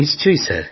নিশ্চয়ই